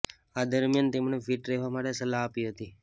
આ દરમિયાન તેમણે ફિટ રહેવા માટે સલાહ આપી હતી